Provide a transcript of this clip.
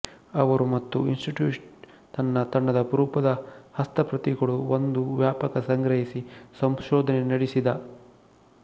ಅವರು ಮತ್ತು ಇನ್ಸ್ಟಿಟ್ಯೂಟ್ ತನ್ನ ತಂಡದ ಅಪರೂಪದ ಹಸ್ತಪ್ರತಿಗಳು ಒಂದು ವ್ಯಾಪಕ ಸಂಗ್ರಹಿಸಿ ಸಂಶೋಧನೆ ನಡೆಸಿದ